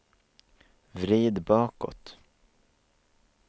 vrid bakåt